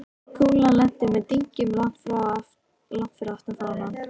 Kúlan lenti með dynkjum langt fyrir aftan fánann.